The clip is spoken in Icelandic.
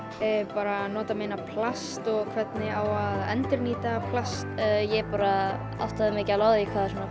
bara að nota minna plast og hvernig á að endurnýta plast ég bara áttaði mig ekki á því hvað